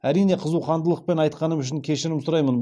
әрине қызуқандылықпен айтқаным үшін кешірім сұраймын